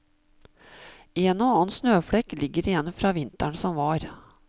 En og annen snøflekk ligger igjen fra vinteren som var.